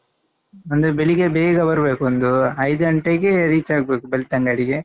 ಅಂದ್ರೆ ಬೆಳಿಗ್ಗೆ ಬೇಗ ಬರ್ಬೇಕು ಒಂದು ಐದು ಗಂಟೆಗೆ reach ಆಗ್ಬೇಕು ಬೆಳ್ತಂಗಡಿಗೆ.